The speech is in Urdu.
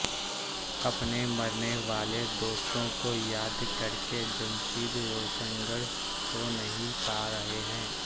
اپنے مرنے والے دوستوں کو یاد کرکے جمشید روشنگر سو نہیں پا رہے ہیں